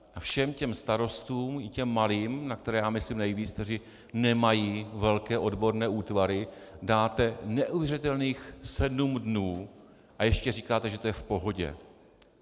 A všem těm starostům, i těm malým, na které já myslím nejvíc, kteří nemají velké odborné útvary, dáte neuvěřitelných sedm dnů a ještě říkáte, že to je v pohodě.